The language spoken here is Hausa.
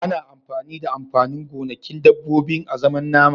Ana amfani da amfanin gonakin dabbobi azaman nama.